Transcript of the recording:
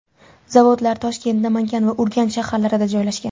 Zavodlar Toshkent, Namangan va Urganch shaharlarida joylashgan.